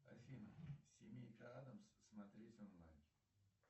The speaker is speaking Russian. афина семейка адамс смотреть онлайн